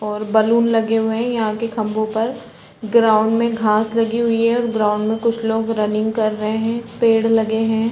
और बलून लगे हुए है यहाँ के खम्भों पर ग्राउंड मे घास लगी हुई है और ग्राउंड मे कुछ लोग रनिंग कर रहे है पेड़ लगे है ।